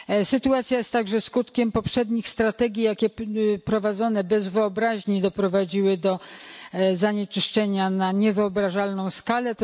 Sytuacja jest także skutkiem poprzednich strategii, jakie prowadzone bez wyobraźni doprowadziły do zanieczyszczenia na niewyobrażalną skalę.